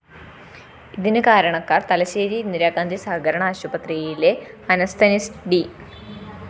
ഇതിന് കാരണക്കാര്‍ തലശ്ശേരി ഇന്ദിരാഗാന്ധി സഹകരണ ആശുപത്രിയിലെ അനസ്തനിസ്റ്റ് ഡി